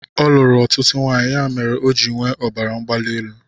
Ọ luru ọtụtụ nwaanyị ya mere ọ ji nwee ọbara mgbali elu